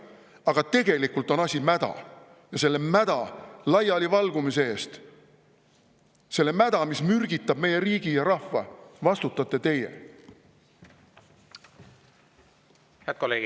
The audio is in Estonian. Aga tegelikult on asi mäda ja selle mäda laialivalgumise eest, selle mäda laialivalgumise eest, mis mürgitab meie riigi ja rahva, vastutate teie!